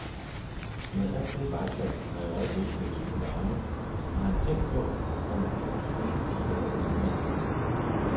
Med alt det vejsalt, der i øjeblikket hældes ud på vejene, har han tænkt på, om ikke det skader bilerne.